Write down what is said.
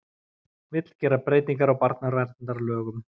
Vill gera breytingar á barnaverndarlögum